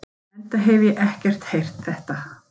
Enda hef ég ekki heyrt þetta.